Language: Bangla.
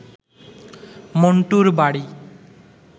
মণ্টুর বাড়ি